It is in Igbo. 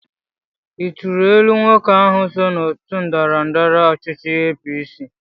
Ị tunyelụ nwoke ahụ so n'otu ndọrọndọrọ ọchịchị APC?